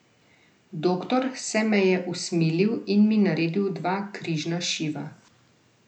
Doktor se me je usmilil in mi naredil dva križna šiva.